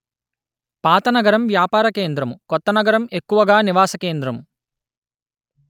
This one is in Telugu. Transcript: పాత నగరం వ్యాపార కేంద్రము కొత్త నగరం ఎక్కువగా నివాస కేంద్రము